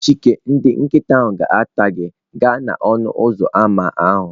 Chike ndị nkịta ga-ata gị gaa n'ọnụ ụzọ ámá ahụ.